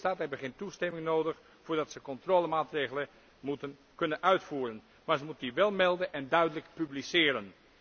Lidstaten hebben geen toestemming nodig voordat ze controlemaatregelen kunnen uitvoeren, maar ze moeten die wel melden en duidelijk publiceren.